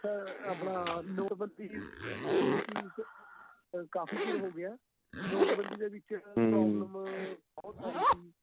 sir ਆਪਣਾ ਨੋਟਬੰਦੀ ਦੀ policy ਕਾਫ਼ੀ ਚਿਰ ਹੋ ਗਿਆ ਏ ਨੋਟਬੰਦੀ ਦੇ ਵਿੱਚ ਬਹੁਤ ਆਈ ਸੀ